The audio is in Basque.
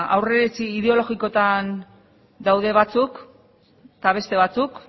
aurriritzi ideologikoetan daude batzuk eta beste batzuk